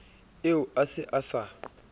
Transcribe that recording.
eo a se a sa